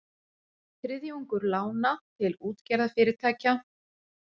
Þriðjungur lána til útgerðarfyrirtækja